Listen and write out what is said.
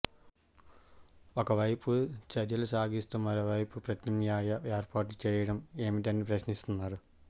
ఒకవైపు చర్చలు సాగిస్తూ మరోవైపు ప్రత్యామ్నాయ ఏర్పాట్లు చేయడం ఏమిటని ప్రశ్నిస్తున్నారు